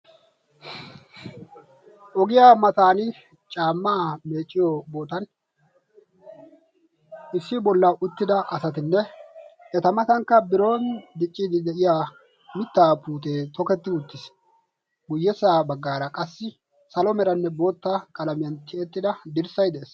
ogiya matan caamaa meecciyo bootaan issi bolla uttida asatinne eta matankka biron diciidi de'iya mitaa puutee tokketti uttiis, guyyessa baggaara qassi salo meranne boota qalammiyan tiyettida dirssay de'ees.